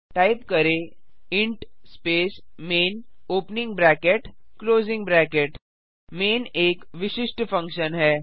type करें int space main opening bracket closing bracket main एक विशिष्ट फंक्शन है